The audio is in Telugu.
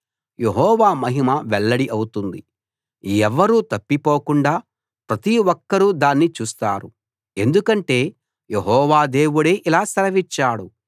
యెహోవా మహిమ వెల్లడి అవుతుంది ఎవ్వరూ తప్పిపోకుండా ప్రతి ఒక్కరూ దాన్ని చూస్తారు ఎందుకంటే యెహోవా దేవుడే ఇలా సెలవిచ్చాడు